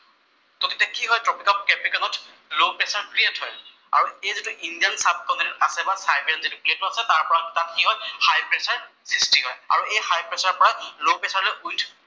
চʼ তেতিয়া কি হয়, ট্ৰপীক অফ কেপ্ৰিকম ত লʼ প্ৰেচাৰ ক্ৰিয়েট হয়। আৰু এই যিটো ইণ্ডিয়ান চাবকমেন্ট আছে বা চাইবেৰিয়ান যিটো কেচ হয় তাত কি হয় হাই প্ৰেচাৰ সৃষ্টি হয় আৰু এই হাই প্ৰেচাৰ পৰা লʼ প্ৰেচাৰ লৈ উইণ্ড